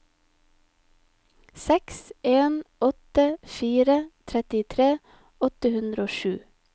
seks en åtte fire trettitre åtte hundre og sju